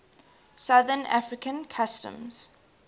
southern african customs